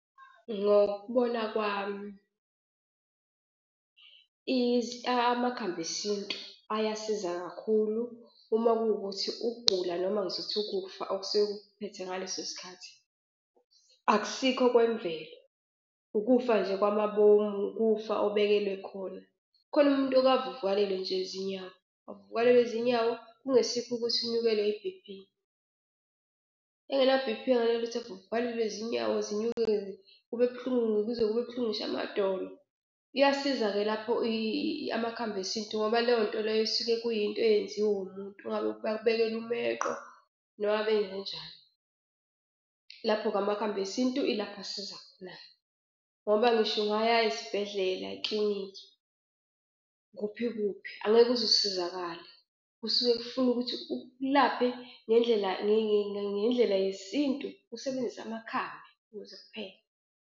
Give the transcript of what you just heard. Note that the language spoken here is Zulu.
Ngokubona kwami, amakhambi esintu ayasiza kakhulu uma kuwukuthi ukugula noma ngizokuthi ukufa okusuke kukuphethe ngaleso sikhathi akusikho okwemvelo, ukufa nje kwamabomu ukufa obekelwe khona. Khona umuntu oke avuvukalelwe nje izinyawo, avuvukalelwe zinyawo kungesikho ukuthi unyukelwe i-B_P. Engena B_P angenalutho evuvukalelwe zinyawo zinyuke-ke kube buhlungu kuze kube buhlungu ngisho amadolo. Iyasiza-ke lapho amakhambi esintu ngoba leyo nto leyo kusuke kuyinto eyenziwe umuntu ngabe bakubhekele umeqo noma benzenjani? Lapho-ke, amakhambi esintu ilapho asiza khona-ke ngoba ngisho ungaya esibhedlela eklinikhi kuphi kuphi angeke uzusizakale. Kusuke kufuna ukuthi ukulaphe ngendlela ngendlela yesintu usebenzise amakhambi ukuze kuphele.